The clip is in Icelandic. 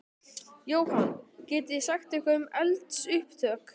Jóhann: Getið þið sagt eitthvað um eldsupptök?